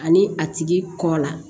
Ani a tigi kɔ la